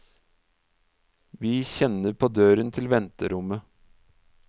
Vi kjenner på døren til venterommet.